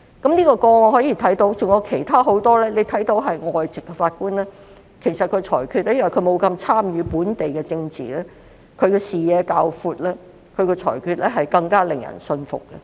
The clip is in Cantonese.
從這宗案件及很多其他個案看到，外籍法官由於沒有參與本地政治，視野會較闊，裁決也會更加令人信服。